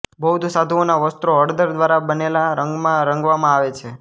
બૌદ્ધ સાધુઓના વસ્ત્રો હળદર દ્વારા બનેલા રંગમાં રંગવામાં આવે છે